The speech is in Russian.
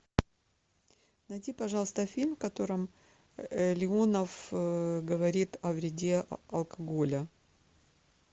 найди пожалуйста фильм в котором леонов говорит о вреде алкоголя